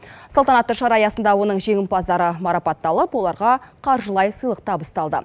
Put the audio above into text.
салтанатты шара аясында оның жеңімпаздары марапатталып оларға қаржылай сыйлық табысталды